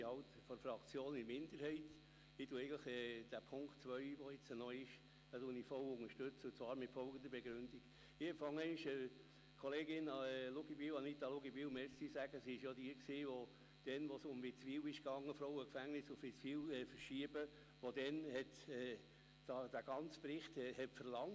In meiner Fraktion gehöre ich zur Minderheit, denn ich unterstütze den verbliebenen Punkt 2 vollumfänglich, und zwar mit folgender Begründung.